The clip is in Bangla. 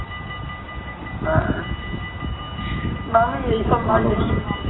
না আমি এইসব